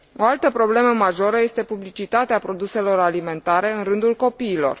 O altă problemă majoră este publicitatea produselor alimentare în rândul copiilor.